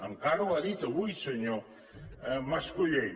encara ho ha dit avui senyor mas colell